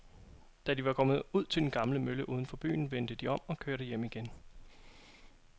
Da de var kommet ud til den gamle mølle uden for byen, vendte de om og kørte hjem igen.